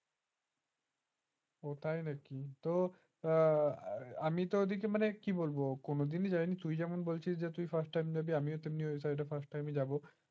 ওটাই নাকি তো আমিতো এদিকে মানে কি বলবো কোনদিনই যায়নি তুই যখন বলছিস যেমন first time যাবি তেমনি আমিও ওই side first time যাব